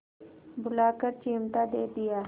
बुलाकर चिमटा दे दिया